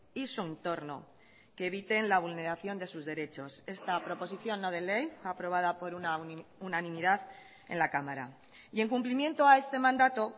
y su entorno que eviten la vulneración de sus derechos esta proposición no de ley aprobada por unanimidad en la cámara y en cumplimiento a este mandato